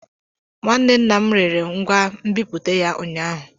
Nwanne nna m rere ngwa nbipute ya ụnyaahụ.